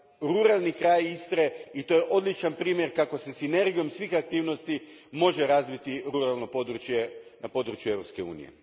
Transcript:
ruralni kraj Istre, i to je odličan primjer kako se sinergijom svih aktivnosti može razviti ruralno područje na području Europske unije.